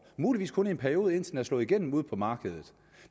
muligvis kun i en periode indtil den er slået igennem ude på markedet